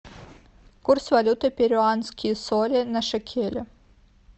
курс валюты перуанские соли на шекели